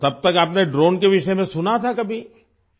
تو کیا آپ نے ڈرون کے بارے میں سنا تھا کبھی ؟